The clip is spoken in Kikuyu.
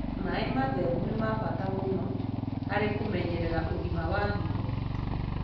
Maĩ matherũ nĩ ma bata mũno harĩ kũmenyerera ũgima wa higo.